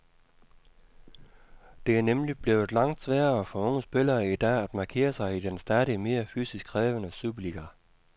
Det er nemlig blevet langt sværere for unge spillere i dag at markere sig i den stadig mere fysisk krævende superliga.